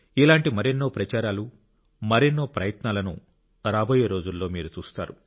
ఇలాంటి మరెన్నో ప్రచారాలు మరెన్నో ప్రయత్నాలను రాబోయే రోజుల్లో మీరు చూస్తారు